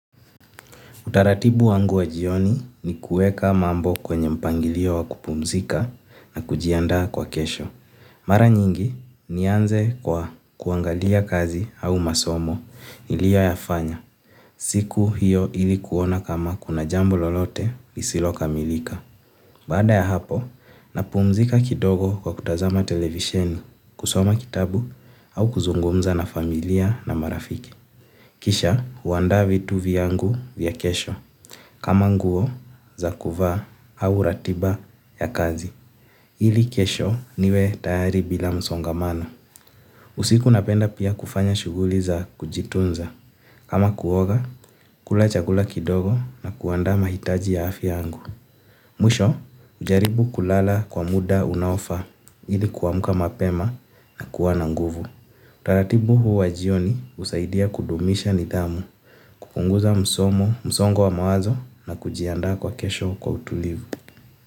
Utaratibu wangu wa jioni ni kuweka mambo kwenye mpangilio wa kupumzika na kujiandaa kwa kesho. Mara nyingi nianze kwa kuangalia kazi au masomo nilioyafanya. Siku hiyo ili kuona kama kuna jambo lolote lisilokamilika. Baada ya hapo, napumzika kidogo kwa kutazama televisheni, kusoma kitabu au kuzungumza na familia na marafiki. Kisha, huandaa vitu vyangu vya kesho. Kama nguo, za kuvaa au ratiba ya kazi. Ili kesho niwe tayari bila msongamano. Usiku napenda pia kufanya shughuli za kujitunza kama kuoga, kula chakula kidogo na kuandaa mahitaji ya afya yangu. Mwisho, hujaribu kulala kwa muda unaofaa ili kuamka mapema na kuwa na nguvu. Utaratibu huu wa jioni husaidia kudumisha nidhamu. Kupunguza msongo wa mawazo na kujiandaa kwa kesho kwa utulivu.